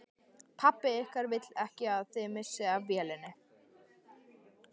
Pabbi ykkar vill ekki að þið missið af vélinni